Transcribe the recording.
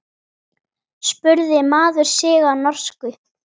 spurði maður sig á norsku.